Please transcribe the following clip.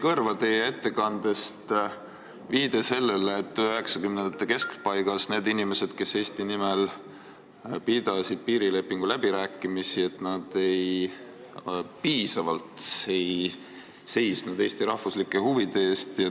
Mulle jäi teie ettekandest kõrva viide sellele, et 1990-ndate keskpaigas need inimesed, kes Eesti nimel pidasid piirilepingu üle läbirääkimisi, ei seisnud piisavalt Eesti rahvuslike huvide eest.